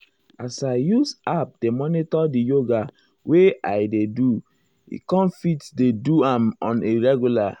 as i use app dey monitor di yoga wey i dey do e com fit dey do am on a regular.